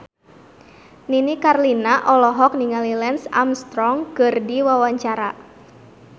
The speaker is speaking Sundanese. Nini Carlina olohok ningali Lance Armstrong keur diwawancara